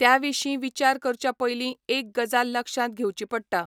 त्या विशीं विचार करच्या पयलीं एक गजाल लक्षांत घेवची पडटा.